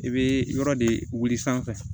I bɛ yɔrɔ de wili sanfɛ